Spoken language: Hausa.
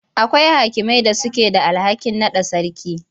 Akwai hakimai da suke da alhakin naɗa sarki.